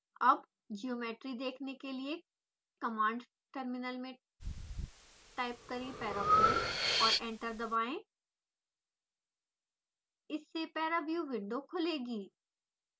अब ज्योमेट्री देखने के लिए कमांड टर्मिनल में टाइप करें parafoam और एंटर दबाएं इससे paraview विंडो खुलेगी